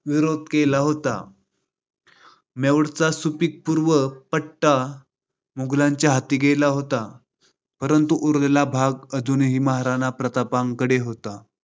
विरोध केला होता. मेवाडचा सुपीक पूर्व पट्टा मोगलांच्या हाती गेला होता. परंतु उरलेला भाग अजूनही महाराणा प्रताप यांच्याकडे होता.